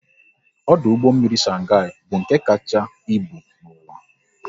Ọdụ ụgbọ mmiri Shanghai bụ nke kacha ịbụ n'uwa